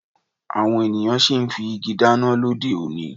Àwọn ènìyàn sì ń fi igi dáná lóde òní